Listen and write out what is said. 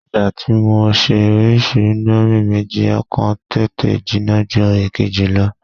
Ìgbà tí mo ṣe orísìí íńdómì méjì, ọ̀kan tètè jinná ju èkejì lọ.